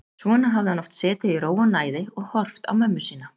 Svona hafði hann oft setið í ró og næði og horft á mömmu sína.